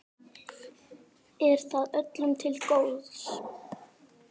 Er það öllum til góðs?